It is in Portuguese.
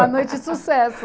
Uma noite de sucesso.